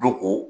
Dɔnko